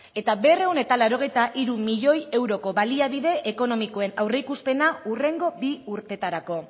eta berrehun eta laurogeita hiru miloi euroko baliabide ekonomikoen aurreikuspena hurrengo bi urtetarako